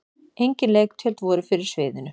Engin leiktjöld voru fyrir sviðinu.